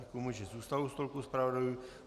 Děkuji mu, že zůstal u stolku zpravodajů.